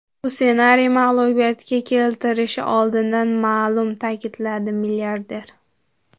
Bu ssenariy mag‘lubiyatga keltirishi oldindan ma’lum”, ta’kidladi milliarder.